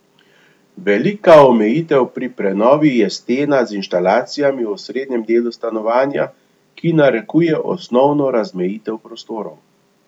Velika omejitev pri prenovi je stena z inštalacijami v osrednjem delu stanovanja, ki narekuje osnovno razmejitev prostorov.